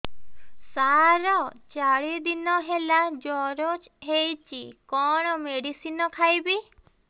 ସାର ଚାରି ଦିନ ହେଲା ଜ୍ଵର ହେଇଚି କଣ ମେଡିସିନ ଖାଇବି